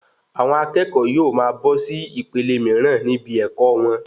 Àwọn akẹ́kọ̀ọ́ yóò máa bọ́ sí ìpele míràn níbí ẹkọ wọn